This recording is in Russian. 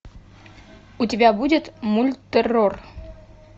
у тебя будет мульт террор